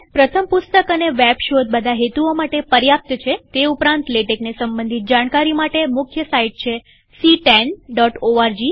પ્રથમ પુસ્તક અને વેબ શોધ બધા હેતુઓ માટે પર્યાપ્ત છેતે ઉપરાંતલેટેકને સંબંધિત જાણકારી માટે મુખ્ય સાઈટ છે ctanઓર્ગ